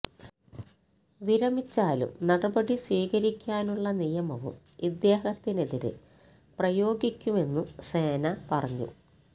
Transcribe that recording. വിരമിച്ചാലും നടപടി സ്വീകരിക്കാനുള്ള നിയമവും ഇദ്ദേഹത്തിനെതിരെ പ്രയോഗിക്കുമെന്നും സേന പറഞ്ഞു